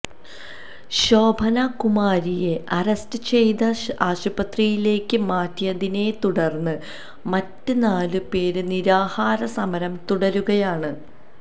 ശോഭനാ കുമാരിയെ അറസ്റ്റ് ചെയ്ത് ആശുപത്രിയിലേക്ക് മാറ്റിയതിനെത്തുടര്ന്ന് മറ്റ് നാല് പേര് നിരാഹാരസമരം തുടരുകയാണ്